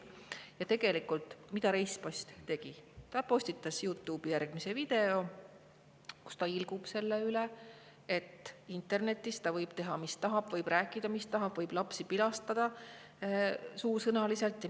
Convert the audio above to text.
Ja tegelikult, mida Reispass tegi: ta postitas YouTube'i video, kus ta ilgub selle üle, et internetis ta võib teha, mis tahab, võib rääkida, mis tahab, võib lapsi suusõnaliselt pilastada.